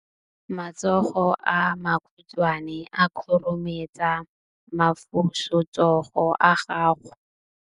matsogo a makhutshwane a khurumetsa masufutsogo a gago